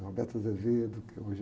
que hoje...